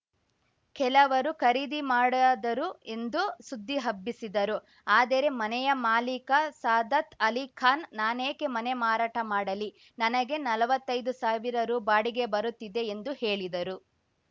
ಕೆಲವರು ಖರೀದಿ ಮಾಡದರು ಎಂದು ಸುದ್ದಿ ಹಬ್ಬಿಸಿದರು ಆದರೆ ಮನೆಯ ಮಾಲೀಕ ಸಾದತ್‌ ಅಲಿ ಖಾನ್‌ ನಾನೇಕೆ ಮನೆ ಮಾರಾಟ ಮಾಡಲಿ ನನಗೆ ನಲ್ವತ್ತೈದು ಸಾವಿರ ರು ಬಾಡಿಗೆ ಬರುತ್ತಿದೆ ಎಂದು ಹೇಳಿದರು